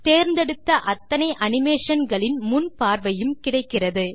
தேர்ந்தெடுத்த அத்தனை அனிமேஷன் களின் முன் பார்வையும் கிடைக்கிறது